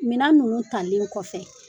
Minan ninnu talen kɔfɛ